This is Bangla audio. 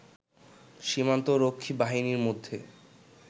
সীমান্ত রক্ষী বাহিনীর মধ্যে